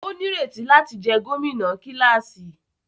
O nireti láti jẹ gómìnà kilasi